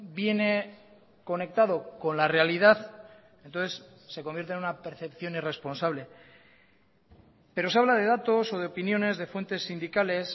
viene conectado con la realidad entonces se convierte en una percepción irresponsable pero se habla de datos o de opiniones de fuentes sindicales